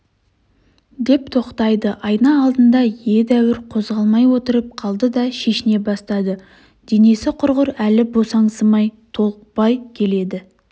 деп тоқтайды айна алдында едәуір қозғалмай отырып қалды да шешіне бастады денесі құрғыр әлі босаңсымай толықпай келеді